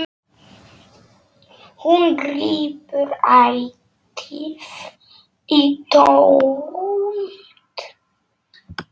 Hún grípur ætíð í tómt.